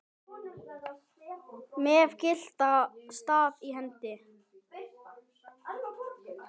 með gyltan staf í hendi.